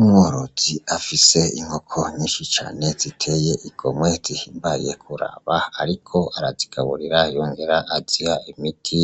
Umworozi afise inkoko nyinshi cane ziteye igomwe zihimbaye kuraba ariko arazigaburira yongera aziha imiti,